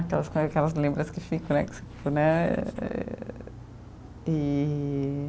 Aquelas lembranças que ficam, né? Né e